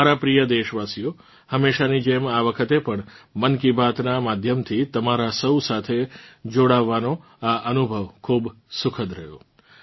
મારાં પ્રિય દેશવાસીઓ હમેશાની જેમ આ વખતે પણ મન કી બાતનાં માધ્યમથી તમારાં સૌ સાથે જોડાવાનો આ અનુભવ ખૂબ સુખદ રહ્યો